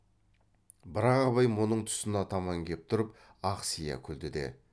бірақ абай мұның тұсына таман кеп тұрып ақсия күлді де